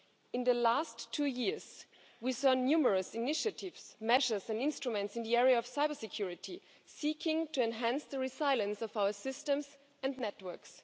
In the last two years, we have seen numerous initiatives, measures and instruments in the area of cybersecurity, seeking to enhance the resilience of our systems and networks.